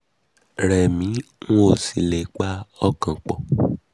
ó rẹ̀ mí n ò sì le è pa ọkàn pọ